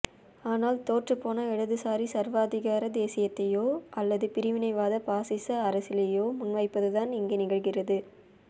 ஆனால் தோற்றுப்போன இடதுசாரி சர்வாதிகார தேசியத்தையோ அல்லது பிரிவினைவாத ஃபாசிச அரசியலையோ முன்வைப்பதுதான் இங்கே நிகழ்கிறது